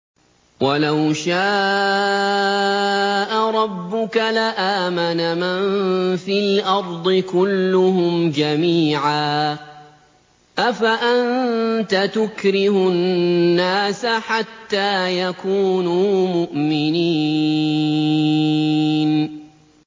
وَلَوْ شَاءَ رَبُّكَ لَآمَنَ مَن فِي الْأَرْضِ كُلُّهُمْ جَمِيعًا ۚ أَفَأَنتَ تُكْرِهُ النَّاسَ حَتَّىٰ يَكُونُوا مُؤْمِنِينَ